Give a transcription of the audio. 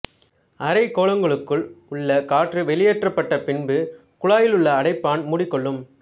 அரைக் கோளங்களுக்குள் உள்ள காற்று வெளியேற்றப்பட்டபின்பு குழாயிலுள்ள அடைப்பான் மூடிக் கொள்ளும்